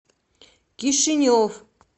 кишинев